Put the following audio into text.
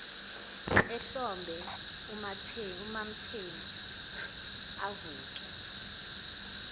ehlombe umamthembu avuke